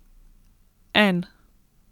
En!